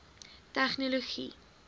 tegnologie